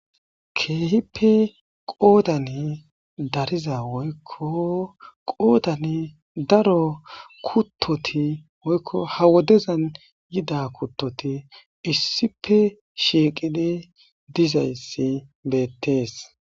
keehippe qoodan dariza woykko qoodani daro kuttoti woykko ha wodezan yida kuttoti issipe shieqidi dizayssi beettees